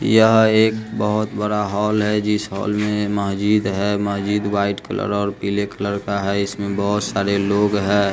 यह एक बहोत बड़ा हॉल है जिस हॉल में महजिद है महजिद व्हाइट कलर और पीले कलर का है इसमें बहोत सारे लोग हैं।